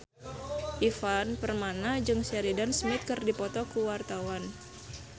Ivan Permana jeung Sheridan Smith keur dipoto ku wartawan